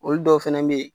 Olu dɔw fɛnɛ be yen